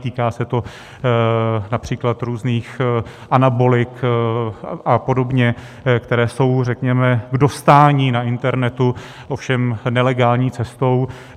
Týká se to například různých anabolik a podobně, která jsou řekněme k dostání na internetu, ovšem nelegální cestou.